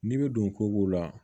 N'i bɛ don kogo la